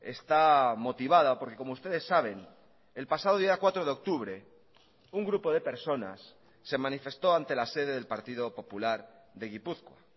está motivada porque como ustedes saben el pasado día cuatro de octubre un grupo de personas se manifestó ante la sede del partido popular de gipuzkoa